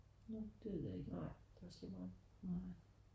Nårh det ved jeg ikke nej